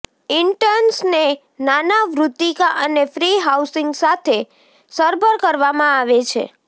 ઇન્ટર્ન્સને નાના વૃત્તિકા અને ફ્રી હાઉસીંગ સાથે સરભર કરવામાં આવે છે